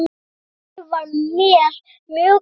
Afi var mér mjög kær.